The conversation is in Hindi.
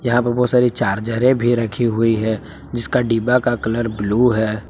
यहां पर बहुत सारी चार्जरें भी रखी हुई है जिसका डिब्बा का कलर ब्लू है।